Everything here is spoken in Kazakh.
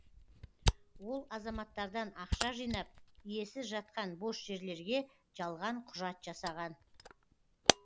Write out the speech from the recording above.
ол азаматтардан ақша жинап иесіз жатқан бос жерлерге жалған құжат жасаған